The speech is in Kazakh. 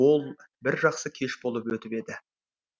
ол бір жақсы кеш болып етіп еді